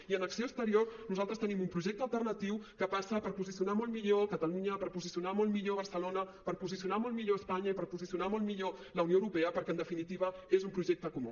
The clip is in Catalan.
i en acció exterior nosaltres tenim un projecte alternatiu que passa per posicionar molt millor catalunya per posicionar molt millor barcelona per posicionar molt millor espanya i per posicionar molt millor la unió europea perquè en definitiva és un projecte comú